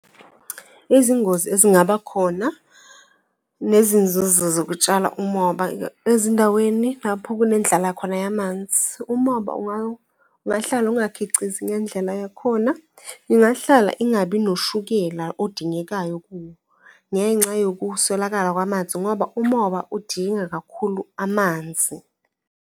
Izingozi ezingaba khona nezinzuzo zokutshala umoba ezindaweni lapho kunendlala khona yamanzi. Umoba ungahlala ungakhicizi ngendlela yakhona, ingahlala ingabi noshukela odingekayo kuwo ngenxa yokuswelakala kwamanzi ngoba umoba udinga kakhulu amanzi.